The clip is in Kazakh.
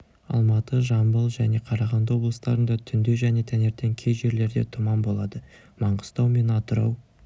алматы жамбыл және қарағанды облыстарында түнде және таңертең кей жерлерде тұман болады маңғыстау мен атырау